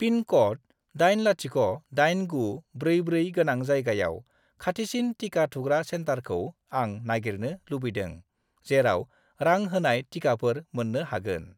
Pin code 808944 गोनां जायगायाव खाथिसिन टिका थुग्रा सेन्टारखौ आं नागिरनो लुबैदों जेराव रां होनाय टिकाफोर मोन्नो हागोन।